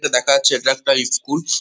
দেখা যাচ্ছে এটা একটা ইস্কুল ।